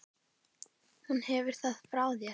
Hún hefur það frá þér.